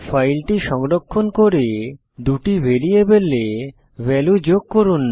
ফাইলটি সংরক্ষণ করে দুটি ভ্যারিয়েবলে ভ্যালু যোগ করুন